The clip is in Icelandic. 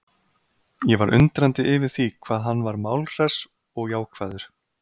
Ég var undrandi yfir því hvað hann var málhress og jákvæður.